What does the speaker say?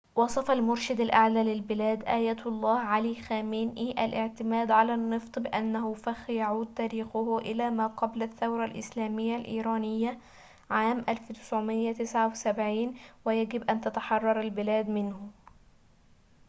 وصف المرشد الأعلى للبلاد آية الله علي خامنئي الاعتماد على النفط بأنه فخ يعود تاريخه إلى ما قبل الثورة الإسلامية الإيرانية عام 1979 ويجب أن تتحرر البلاد منه